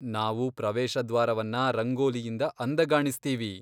ನಾವು ಪ್ರವೇಶ ದ್ವಾರವನ್ನ ರಂಗೋಲಿಯಿಂದ ಅಂದಗಾಣಿಸ್ತೀವಿ.